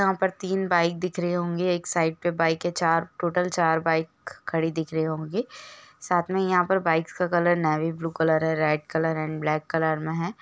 यहाँ पर तीन बाइक दिख रही होगी एक साइड पे बाइक है चार टोटल चार बाइक खड़ी दिख रही होगी साथ में यहाँ पर बाइकस का कलर नेवी ब्लू कलर है red colour and black colour में है।